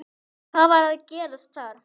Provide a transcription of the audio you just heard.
Hvað var að gerast þar?